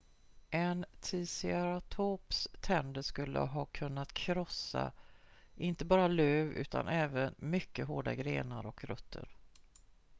en ticeratops tänder skulle ha kunnat krossa inte bara löv utan även mycket hårda grenar och rötter